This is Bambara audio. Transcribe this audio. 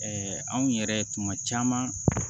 anw yɛrɛ tuma caman